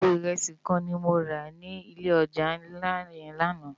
Àpó irési kán ni mó rá ni ilé òjá nlá yèn làná